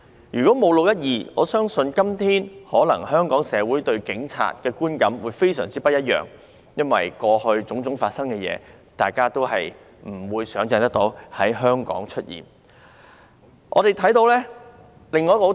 如果沒有"六一二"事件，我相信今天香港社會對警察的觀感會非常不一樣，因為當天發生的種種事情，是大家都無法想象會在香港出現的。